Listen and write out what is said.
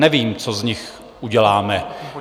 Nevím, co z nich uděláme.